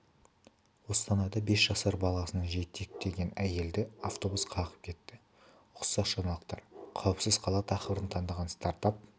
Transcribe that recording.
қостанайда бес жасар баласын жетектеген әйелді автобус қағып кетті ұқсас жаңалықтар қауіпсіз қала тақырыбын таңдаған стартап